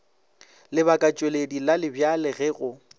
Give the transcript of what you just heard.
lebakatšweledi la lebjale ge go